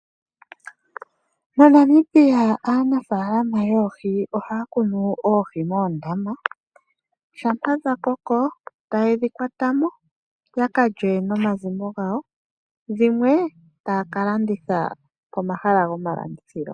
MoNamibia aanafaalama yoohi ohaya tula Oohi moondama, shampa dha koko taye dhi kwata mo ya kalye nomazimo gawo. Dhimwe taya ka landitha komahala goma landithilo.